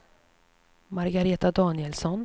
Margareta Danielsson